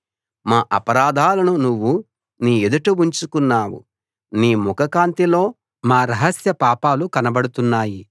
మా అపరాధాలను నువ్వు నీ ఎదుట ఉంచుకున్నావు నీ ముఖకాంతిలో మా రహస్య పాపాలు కనబడుతున్నాయి